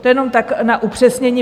To jenom tak na upřesnění.